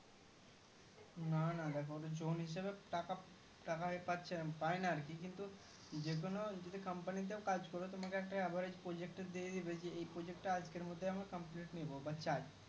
না না দেখো জোন হিসাবে টাকা টাকা পাচ্ছে পাইনা আরকি কিন্তু যেকোনো যদি Company তে কাজ করো তোমাকে একটা average project দিয়ে দিবে জি এই project আজকের মধ্যে আমার complete নিবো বা চাই